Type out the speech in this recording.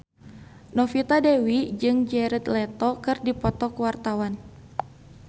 Novita Dewi jeung Jared Leto keur dipoto ku wartawan